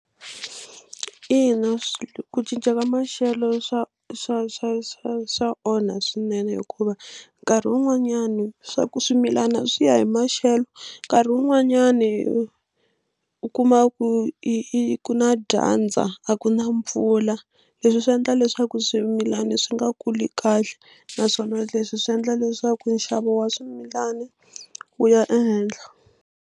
Ina ku cinca ka maxelo swa swa swa swa swa onha swinene hikuva nkarhi wun'wanyani swa ku swimilana swi ya hi maxelo nkarhi wun'wanyani u kuma ku i ku na dyandza a ku na mpfula leswi swi endla leswaku swimilana swi nga kuli kahle naswona leswi swi endla leswaku nxavo wa swimilana wu ya ehenhla.